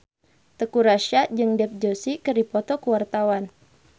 Teuku Rassya jeung Dev Joshi keur dipoto ku wartawan